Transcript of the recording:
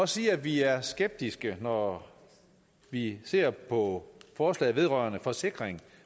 sige at vi er skeptiske når vi ser på forslaget vedrørende forsikring